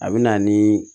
A bɛ na ni